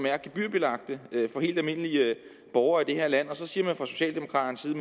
er gebyrbelagte for helt almindelige borgere i det her land og så siger man fra socialdemokraternes side